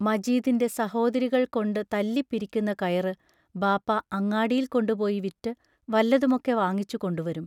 മജീദിന്റെ സഹോദരികൾ കൊണ്ടു തല്ലി പിരിക്കുന്ന കയറ് ബാപ്പാ അങ്ങാടിയിൽ കൊണ്ടുപോയി വിറ്റു വല്ലതുമൊക്കെ വാങ്ങിച്ചു കൊണ്ടുവരും.